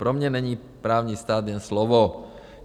Pro mě není právní stát jen slovo."